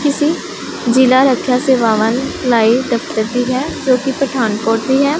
किसी जिला है पठान कोट भी है।